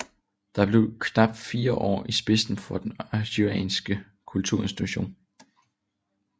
Det blev til knap fire år i spidsen for den aarhusianske kulturinstitution